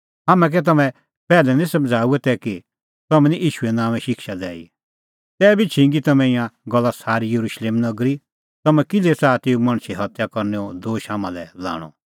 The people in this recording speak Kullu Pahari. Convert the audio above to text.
हाम्हैं कै तम्हैं पैहलै निं समझ़ाऊऐ तै कि तम्हैं निं ईशूए नांओंए शिक्षा दैई तैबी छिंगी तम्हैं ईंयां गल्ला सारी येरुशलेम नगरी तम्हैं किल्है च़ाहा तेऊ मणछे हत्या करनैओ दोश हाम्हां लै लाणअ